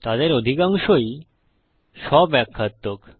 তাদের অধিকাংশই স্ব ব্যাখ্যাত্মক